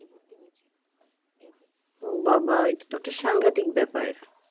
ও বাবা এটাতো একটা সাংঘাতিক ব্যাপার